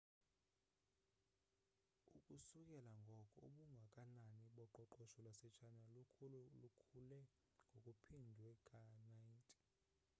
ukusukela ngoko ubungakanani boqoqosho lwase china lukhule ngokuphindwe ka-90